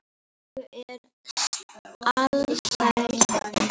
Og er alsæll.